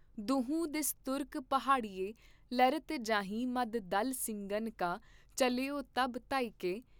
ਦੁਹੂੰ ਦਿਸ ਤੁਰਕ ਪਹਾੜੀਏ ਲਰਤ ਜਾਹਿਂ ਮੱਧ ਦਲ ਸਿੰਘਨ ਕਾ ਚੱਲਯੋ ਤਬ ਧਾਇਕੇ।